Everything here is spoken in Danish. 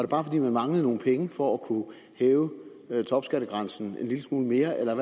bare fordi man manglede nogle penge for at kunne hæve topskattegrænsen en lille smule mere eller